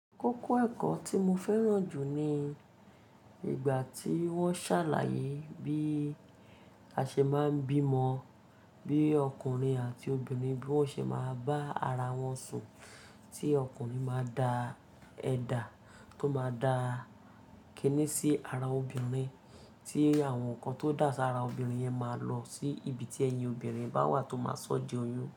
Kókó ẹ̀kọ́ tí mo fẹ́ràn jù ni ìgbà tí wọ́n ṣàlàyé bí a ṣe máa ń bímọ, bí ọkùnrin àti obìnrin bí wọ́n ṣe máa bá ara wọn sùn, tí ọkùnrin máa da ẹ̀dà tó máa da kínní sí ara obìnrin, tí àwọn nǹkan tó dà sí ara obìnrin yẹn máa lọ sí ibi tí ẹyin obìnrin bá wà tó máa sọ́ di oyún.